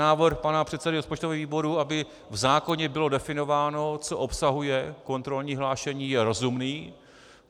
Návrh pana předsedy rozpočtového výboru, aby v zákoně bylo definováno, co obsahuje kontrolní hlášení, je rozumný.